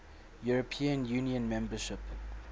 european union membership